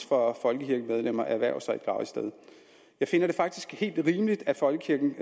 for folkekirkemedlemmer at erhverve sig et gravsted jeg finder det faktisk helt rimeligt at folkekirken